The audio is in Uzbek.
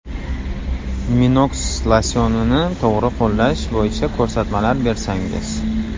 Minox losyonini to‘g‘ri qo‘llash bo‘yicha ko‘rsatmalar bersangiz.